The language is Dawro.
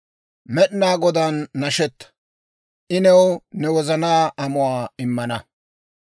Med'inaa Godaan nashetta; I new ne wozanaa amuwaa immana.